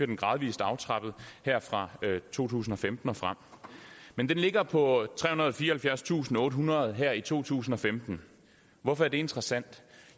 den gradvist aftrappet her fra to tusind og femten og frem men den ligger på trehundrede og fireoghalvfjerdstusindottehundrede kroner her i to tusind og femten hvorfor er det interessant